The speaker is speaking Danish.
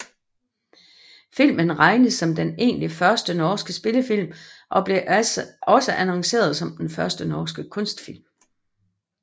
Filmen regnes som den egentlig første norske spillefilm og blev også annonceret som Den første norske kunstfilm